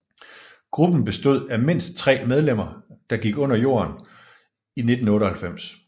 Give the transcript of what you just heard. Gruppen bestod af mindst tre medlemmer der gik under jorden i 1998